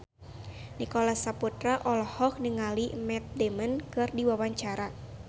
Nicholas Saputra olohok ningali Matt Damon keur diwawancara